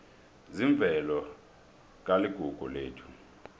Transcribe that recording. zemvelo kuligugu lethu